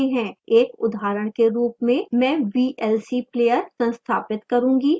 एक उदाहरण के रूप में मैं vlc player संस्थापित करूँगा